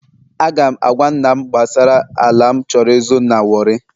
Aga m agwa nna m gbasara ala m chọrọ ịzụ na warri